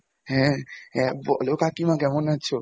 হ্যাঁ, হ্যাঁ বলো কাকিমা কেমন আছো?